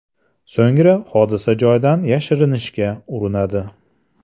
So‘ngra hodisa joyidan yashirinishga urinadi.